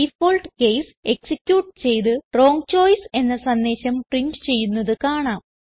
default case execute ചെയ്ത് wrong choice എന്ന സന്ദേശം പ്രിന്റ് ചെയ്യുന്നത് കാണാം